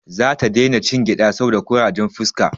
Za ta dai na cin gyada saboda kurajen fuska